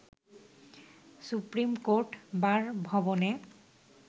supreme court bar ভবনে